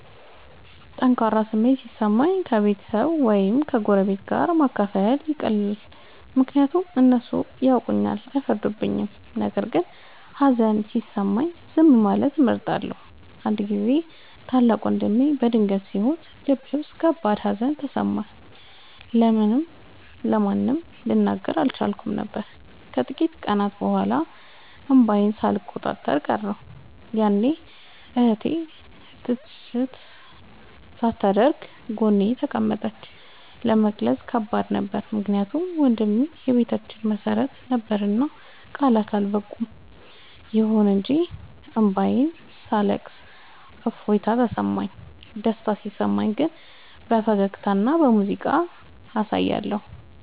ጠንካራ ስሜት ሲሰማኝ ከቤተሰብ ወይም ከጎረቤት ጋር ማካፈል ይቀላል፤ ምክንያቱም እነሱ ያውቁኛልና አይፈርዱም። ነገር ግን ሀዘን ሲሰማኝ ዝም ማለትን እመርጣለሁ። አንድ ጊዜ ታላቅ ወንድሜ በድንገት ሲሞት ልቤ ውስጥ ከባድ ሀዘን ተሰማኝ፤ ለማንም ልናገር አልቻልኩም ነበር። ከጥቂት ቀናት በኋላ እንባዬን ሳልቆጣጠር ቀረሁ፤ ያኔ እህቴ ትችት ሳታደርግ ጎኔ ተቀመጠች። ለመግለጽ ከባድ ነበር ምክንያቱም ወንድሜ የቤታችን መሰረት ነበርና ቃላት አልበቁም። ይሁን እንጂ እንባዬን ሳለቅስ እፎይታ ተሰማሁ። ደስታ ሲሰማኝ ግን በፈገግታና በሙዚቃ አሳያለሁ።